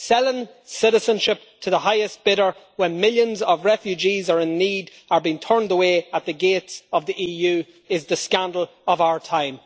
Selling citizenship to the highest bidder when millions of refugees in need are being turned away at the gates of the EU is the scandal of our time.